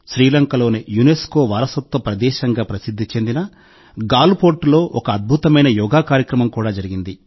శ్రీలంకలోని UNESCO వారసత్వ ప్రదేశంగా ప్రసిద్ధి చెందిన గాల్ ఫోర్ట్లో ఒక అద్భుతమైన యోగా కార్యక్రమం కూడా జరిగింది